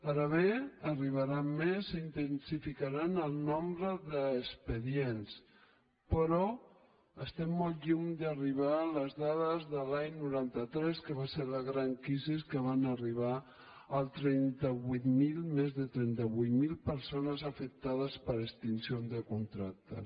ara bé n’arribaran més i s’intensificaran el nombre d’expedients però estem molt lluny d’arribar a les dades de l’any noranta tres que va ser la gran crisi en què van arribar més de trenta vuit mil persones afectades per extinció de contractes